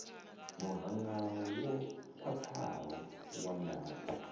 muhanga wo khwathaho wa ndaka